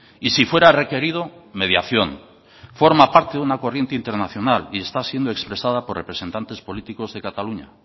y si fuera requerido mediación forma parte de una corriente internacional y está siendo expresada por representantes políticos de cataluña